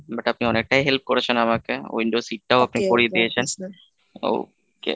but আপনি অনেকটাই help করেছেন, আমাকেwindow seat ও আপনি করিয়ে দিয়েছেন okay,